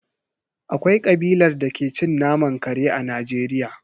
Akwai kabilar da ke cin naman kare a Najeriya.